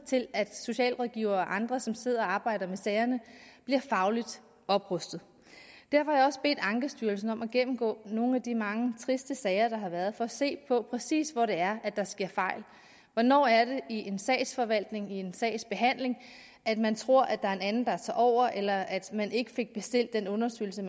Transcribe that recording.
til at socialrådgivere og andre som sidder og arbejder med sagerne bliver fagligt oprustet derfor har jeg også bedt ankestyrelsen om at gennemgå nogle af de mange triste sager der har været for at se på præcis hvor det er der sker fejl hvornår er det i sagsforvaltning i en sagsbehandling at man tror at der er en anden der tager over eller at man ikke fik bestilt den undersøgelse